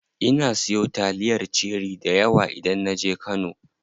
Ina siyo taliyar cherie dayawa idan naje kano.